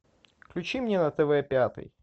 включи мне на тв пятый